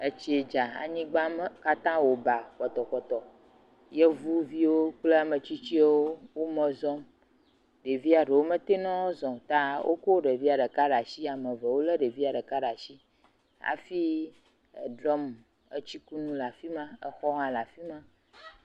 Etsi dza anyigba katã wɔ ba pɔtɔpɔtɔpɔtɔ, yevuvi kple ametsitsiwo wo eme zɔm, ɖevia ɖewo mete ŋu woazɔ o, ta woko ɖevia ɖeka ɖe asi ame eve wolé ɖevia ɖe asi hafi drum etsikunu le afi me exɔ hã le afi ma.